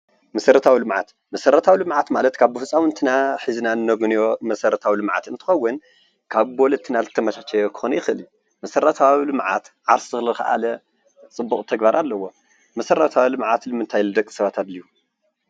መሰረታዊ ልምዓት ፦መሰረታዊ ልምዓት ማለት ካብ ብህፃዉንትና ሒዝና ነግንዮ መሰረታዊ ልምዓት እንትኸዉን ካብ ወለድና ዝተመቻቸየ ክኸዉን ይኽእል እዩ፡፡ መሰረታዊ ልምዓት ዓርሱ ዝኸኣለ ፅቡቅ ተግባር ኣለዎ። መሰረታዊ ልምዓት ንምታይ ንደቂ ሰባት ኣድልዩ?